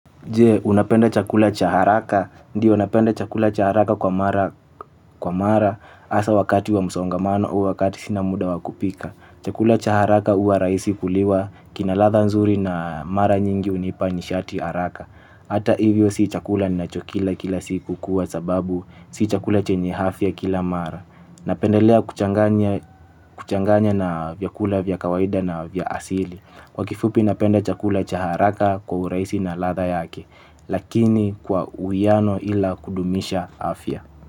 Unapenda chakula cha haraka? Ndiyo unapenda chakula cha haraka kwa mara asa wakati wa msaongamano au wakati sina muda wakupika. Chakula cha haraka uwa raisi kuliwa kinaladha nzuri na mara nyingi hunipa nishati haraka. Hata hivyo si chakula ninachokila kila siku kuwa sababu si chakula chenye hafya kila mara. Napendelea kuchanganya na vyakula vyakawaida na na vya asili. Kwa kifupi napende chakula cha haraka kwa urahisi na latha yake. Lakini kwa uwiano ila kudumisha afya.